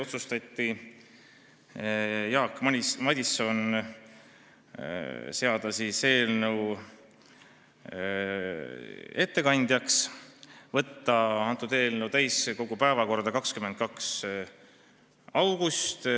Otsustati määrata Jaak Madison eelnõu ettekandjaks ja saata eelnõu täiskogu päevakorda 22. augustiks.